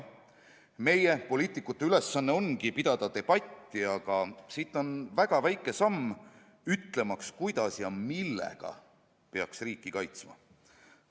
Meie poliitikute ülesanne on pidada debatti, aga siit on väga väike samm ütlemaks, kuidas ja millega peaks riiki kaitsma.